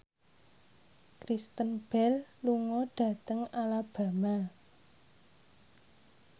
Kristen Bell lunga dhateng Alabama